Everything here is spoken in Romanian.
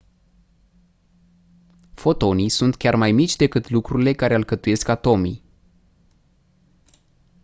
fotonii sunt chiar mai mici decât lucrurile care alcătuiesc atomii